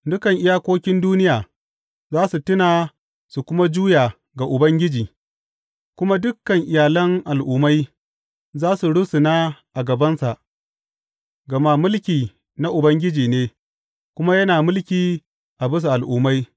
Dukan iyakokin duniya za su tuna su kuma juya ga Ubangiji, kuma dukan iyalan al’ummai za su rusuna a gabansa, gama mulki na Ubangiji ne kuma yana mulki a bisa al’ummai.